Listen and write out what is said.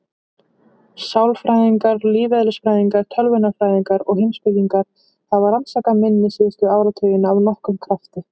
Sálfræðingar, lífeðlisfræðingar, tölvunarfræðingar og heimspekingar hafa rannsakað minni síðustu áratugina af nokkrum krafti.